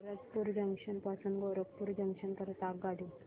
Bharatpur junction पासून Gorakhpur junction करीता आगगाडी